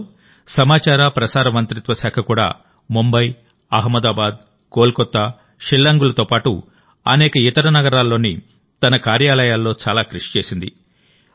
గతంలోసమాచార ప్రసార మంత్రిత్వ శాఖ కూడా ముంబై అహ్మదాబాద్ కోల్కతా షిల్లాంగ్ లతో పాటు అనేక ఇతర నగరాల్లోని తన కార్యాలయాలలో చాలా కృషి చేసింది